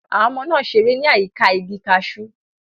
Àwọn ọmọ náà ṣeré ní àyíká igi cashew.